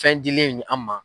Fɛn dilen an ma.